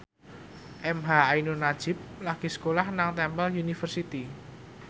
emha ainun nadjib lagi sekolah nang Temple University